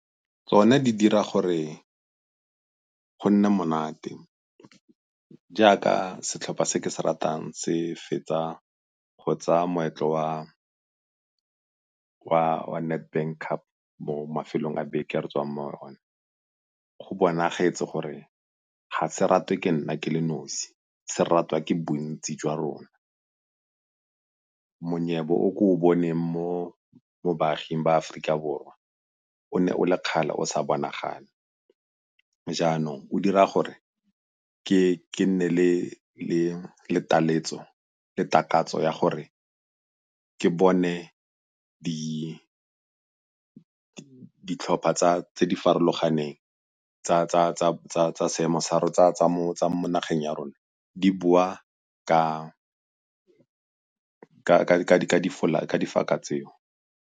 Tsona di dira gore go nne monate jaaka setlhopha se ke se ratang se fetsa go tsaya moetlo wa Nedbank Cup mo mafelong a beke a re tswang mo go one. Go bonagetse gore ga se ratwe ke nna ke le nosi, se ratwa ke bontsi jwa rona. Monyebo o ke o boneng mo baaging ba Aforika Borwa o ne o le kgale o sa bonagale jaanong o dira gore ke nne le takatso ya gore ke bone ditlhopha tse di farologaneng tsa mo tsa mo nageng ya rona di boa ka di tseo.